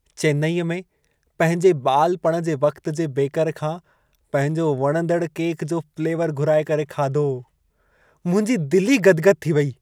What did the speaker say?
चेन्नई में पंहिंजे ॿालपणु जे वक़्त जे बेकर खां पंहिजो वणंदड़ु केक जो फ़्लेवरु घुराए करे खाधो। मुंहिंजी दिल ई गदि-गदि थी वेई।